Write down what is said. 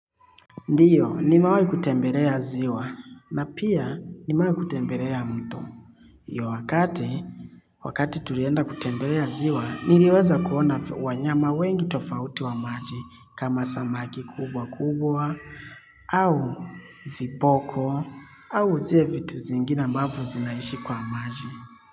Ndiyo, ni mewai kutembelea ziwa, na pia, nimewai kutembelea mto. Yo wakati, wakati tulienda kutembelea ziwa, niriweza kuona wanyama wengi tofauti wa maji, kama samaki kubwa kubwa, au vipoko, au zile vitu zingine ambavyo zinaishi kwa maji.